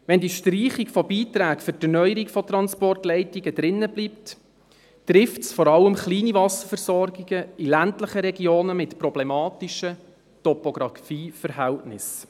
Wenn die Streichung der Beiträge für die Erneuerung der Transportleitungen bleibt, trifft dies vor allem kleine Wasserversorgungen in ländlichen Regionen mit problematischen Topografieverhältnissen.